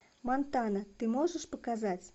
монтана ты можешь показать